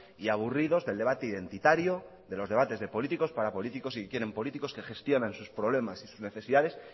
y aburridos del debate identitario de los debates políticos para políticos y que quieren políticos que gestionen sus problemas y sus necesidades